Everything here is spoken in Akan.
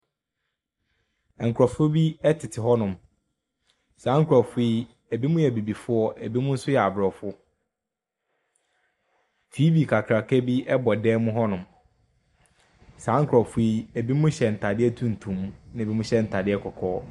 Nkurɔfoɔ bi tete hɔnom. Saa nkurɔfoɔ yi, ebinom yɛ abibifoɔ, ebinom nso yɛ aborɔfo. TV kakraka bi bɔ dan mu hɔnom. Saa nkurɔfo yi, ebinom hyɛ ntadeɛ tuntum, ɛnna ebinom hyɛ ntadeɛ kɔkɔɔ.